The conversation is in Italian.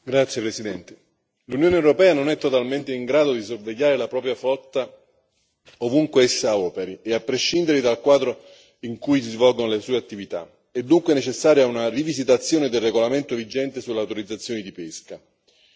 Signor Presidente, onorevoli colleghi, l'Unione europea non è totalmente in grado di sorvegliare la propria flotta ovunque essa operi e a prescindere dal quadro in cui si svolgono le sue attività. È dunque necessaria una rivisitazione del regolamento vigente sulle autorizzazioni di pesca.